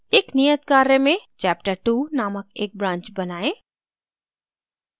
एक नियत कार्य मेंchaptertwo named एक branch बनाएं